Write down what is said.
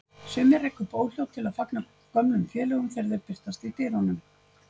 Sumir reka upp óhljóð til að fagna gömlum félögum þegar þeir birtast í dyrunum.